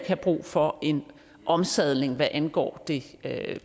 have brug for en omsadling hvad angår det